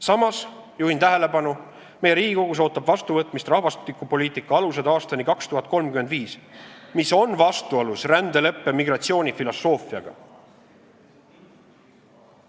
Samas juhin tähelepanu, et meie Riigikogus ootab vastuvõtmist "Rahvastikupoliitika põhialused 2035", mis on vastuolus rändeleppe migratsioonifilosoofiaga.